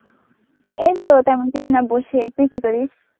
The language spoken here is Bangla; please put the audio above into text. এই তো তেমন কিছু না বসে. তুই কি করিস?